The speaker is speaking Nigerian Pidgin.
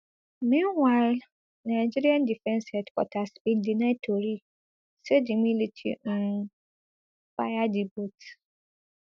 meanwhile nigeria defence headquarters bin deny tori say di military um fire di boat